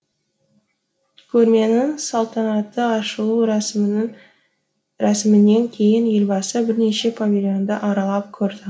көрменің салтанатты ашылу рәсімінен кейін елбасы бірнеше павильонды аралап көрді